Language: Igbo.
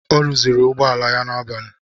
Ọ rụzịrị ụgbọala ya n'abali.